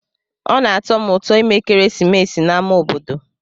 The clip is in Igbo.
Ọ na-atọ m ụtọ ime ekeresimesi n'ámá obodo.